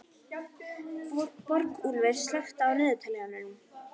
Borgúlfur, slökktu á niðurteljaranum.